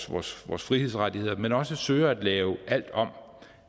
vores vores frihedsrettigheder men også søger at lave alt om